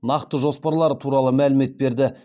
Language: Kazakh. нақты жоспарлары туралы мәлімет берді